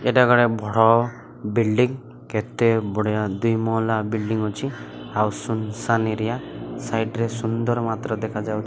ଏଟା ବିଲ୍ଡିଂ କେତେ ବଢ଼ିଆ ଦୁଇ ମହଲା ବିଲ୍ଡିଂ ଅଛି ଆଉ ସୁନ ସାନ୍ ଏରିଆ ସାଇଡ ରେ ସୁନ୍ଦର ମାତ୍ର ଦେଖାଯାଉ --